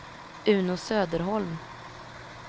Uno Söderholm